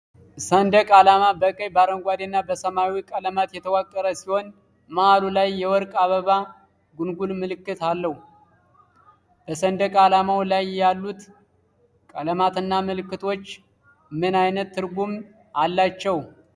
ንደቅ ዓላማ በቀይ፣ በአረንጓዴና በሰማያዊ ቀለማት የተዋቀረ ሲሆን መሃሉ ላይ የወርቅ የአበባ ጉንጉን ምልክት አለው። በሰንደቅ ዓላማው ላይ ያሉት ቀለማትና ምልክቶች ምን ዓይነት ትርጉም አላቸው?